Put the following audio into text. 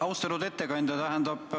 Austatud ettekandja!